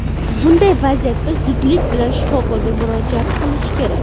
Bunday vaziyatda zudlik bilan shifokorga murojaat qilish kerak.